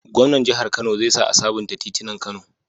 Gwamnan jahar kano zai sa a sabunta titinan kano